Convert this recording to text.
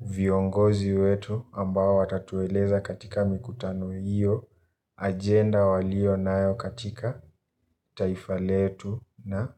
viongozi wetu ambao watatueleza katika nikutano hiyo agenda waliyonayo katika taifa letu na.